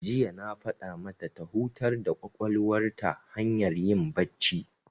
Jiya na faɗa mata ta hutar da ƙwaƙwalwar ta hanyar yin bacci.